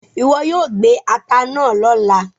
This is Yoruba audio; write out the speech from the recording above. iwọ yoo gbé atá náa lọla!